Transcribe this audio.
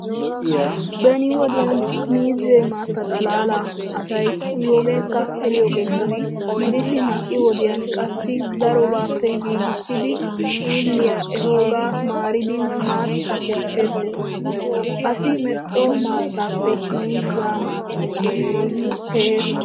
Beni wodiyan miizze maatta xaalalaa asay uyiyoogeekka eriyoogeekka gidishin ha"i wodiyan qassi darobaappe giigissidi xiilliyaa ehoogaa maaridi maatta kesseettees. Asi medhdho maattaappe miizzaa maattay keehees.